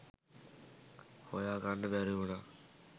හොයා ගන්න බැරි වුණා.